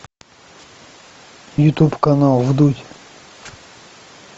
ютуб канал вдудь